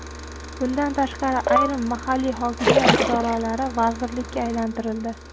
Bundan tashqari, ayrim mahalliy hokimiyat idoralari vazirlikka aylantirildi.